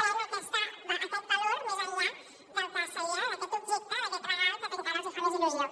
pren aquest valor més enllà del que seria d’aquest objecte d’aquest regal que encara els hi fa més il·lusió